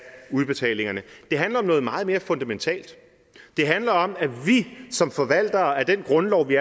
udbetalingerne det handler om noget meget mere fundamentalt det handler om at vi som forvaltere af den grundlov vi